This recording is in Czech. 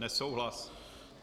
Nesouhlas.